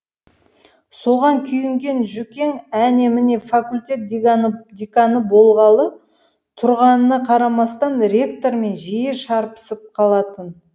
соған күйінген жүкең әне міне факультет деканы болғалы тұрғанына қарамастан ректормен жиі шарпысып қалатын